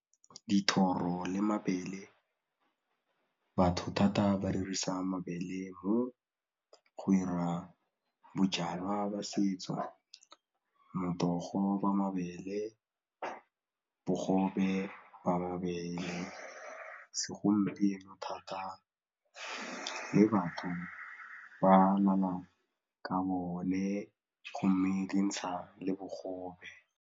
Dithoro le mabele batho thata ba dirisa mabele mo go 'ira bojalwa jwa setso, motogo wa mabele, bogobe ba mabele, segompieno thata le batho ba amana ka bone go mme dintsha le bogobe.